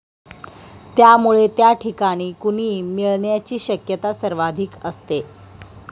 त्यामुळे त्या ठिकाणी कुणी मिळण्याची शक्यता सर्वाधिक असते.